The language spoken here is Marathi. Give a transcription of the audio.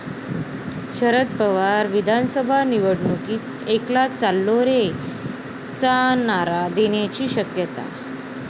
शदर पवार विधानसभा निवडणुकीत 'एकला चालो रे'चा नारा देण्याची शक्यता